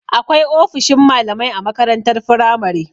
Akwai ofishin malamai a makarantar firamare.